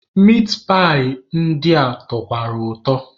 Mitpaị ndị a tọkwara ụtọ.